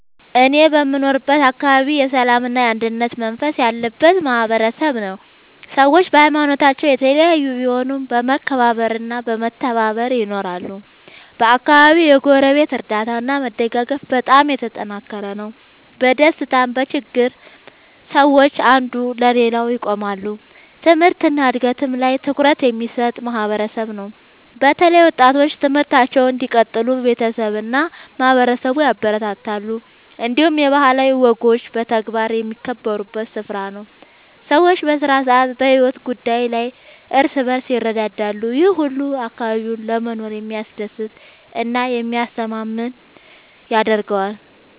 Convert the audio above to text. እኔ የምኖርበት አካባቢ የሰላምና የአንድነት መንፈስ ያለበት ማህበረሰብ ነው። ሰዎች በሀይማኖታቸው የተለያዩ ቢሆኑም በመከባበር እና በመተባበር ይኖራሉ። በአካባቢው የጎረቤት እርዳታ እና መደጋገፍ በጣም የተጠናከረ ነው። በደስታም በችግርም ሰዎች አንዱ ለሌላው ይቆማሉ። ትምህርት እና እድገት ላይም ትኩረት የሚሰጥ ማህበረሰብ ነው። በተለይ ወጣቶች ትምህርታቸውን እንዲቀጥሉ ቤተሰብ እና ማህበረሰብ ያበረታታሉ። እንዲሁም የባህላዊ ወጎች በተግባር የሚከበሩበት ስፍራ ነው። ሰዎች በስራ እና በሕይወት ጉዳይ ላይ እርስ በርስ ይረዳዳሉ። ይህ ሁሉ አካባቢውን ለመኖር የሚያስደስት እና የሚያስተማማኝ ያደርገዋል።